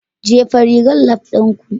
Jefa rigar lab ɗinku